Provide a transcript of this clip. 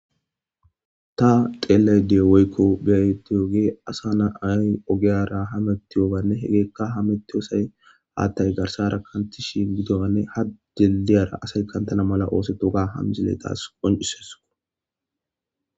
Ta xeelayida woykko be'iyooge asa naayi ogeyara hamettiyooganne hegeekka hamettiyosay haaththay garssara kantishin gidoanne ha dilidiyara asay kantana mala oosetoga ha misile taasi qoncises.